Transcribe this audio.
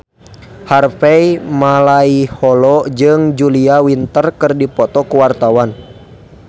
Harvey Malaiholo jeung Julia Winter keur dipoto ku wartawan